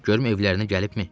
Görüm evlərinə gəlibmi.